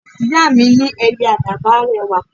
Ìyá mi ní Ẹyẹ Àdàbà rẹwà